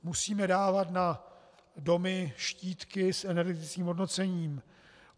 Musíme dávat na domy štítky s energetickým hodnocením.